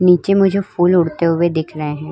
नीचे मुझे फूल उड़ते हुए दिख रहे हैं।